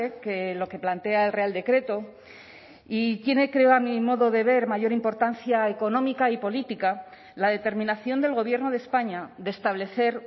que lo que plantea el real decreto y tiene creo a mi modo de ver mayor importancia económica y política la determinación del gobierno de españa de establecer